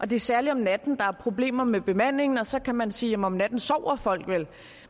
det er særlig om natten der er problemer med bemandingen og så kan man sige at om natten sover folk vel